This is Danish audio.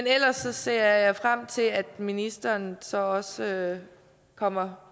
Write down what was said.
ellers ser jeg frem til at ministeren så også kommer